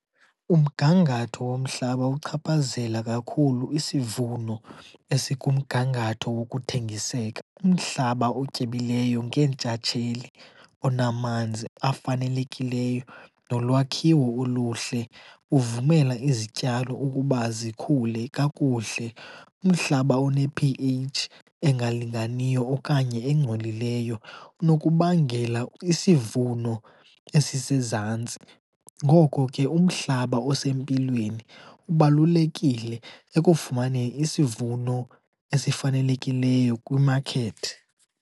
Umgangatho womhlaba uchaphazela kakhulu isivuno esikumgangatho wokuthengiseka. Umhlaba otyebileyo ngeentshatsheli onamanzi afanelekileyo, nolwakhiwo oluhle uvumela izityalo ukuba zikhule kakuhle. Umhlaba one-P_H engalinganiyo okanye engcolileyo unokubangela isivuno esisezantsi. Ngoko ke, umhlaba osempilweni kubalulekile ekufumane isivuno esifanelekileyo kwimakethi.